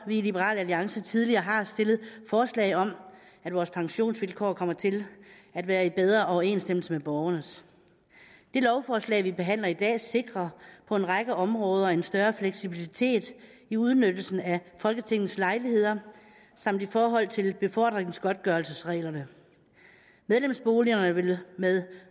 vi i liberal alliance tidligere har stillet forslag om at vores pensionsvilkår kommer til at være i bedre overensstemmelse med borgernes det lovforslag vi behandler i dag sikrer på en række områder en større fleksibilitet i udnyttelsen af folketingets lejligheder samt i forhold til befordringsgodtgørelsesreglerne medlemsboligerne vil med